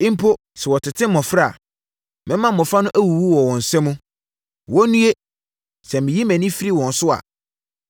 Mpo sɛ wɔtete mmɔfra a, mɛma mmɔfra no awuwu wɔ wɔn nsa mu. Wɔnnue, sɛ meyi mʼani firi wɔn so a!